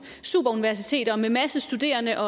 superuniversiteter med en masse studerende